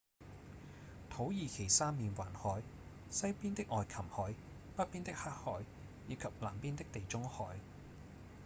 土耳其三面環海：西邊的愛琴海﹑北邊的黑海以及南邊的地中海